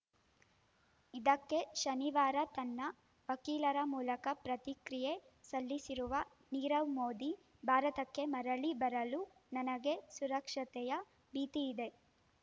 ಇದಕ್ಕೆ ಶನಿವಾರ ತನ್ನ ವಕೀಲರ ಮೂಲಕ ಪ್ರತಿಕ್ರಿಯೆ ಸಲ್ಲಿಸಿರುವ ನೀರವ್‌ ಮೋದಿ ಭಾರತಕ್ಕೆ ಮರಳಿ ಬರಲು ನನಗೆ ಸುರಕ್ಷತೆಯ ಭೀತಿಯಿದೆ